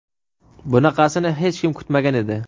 Bunaqasini hech kim kutmagan edi.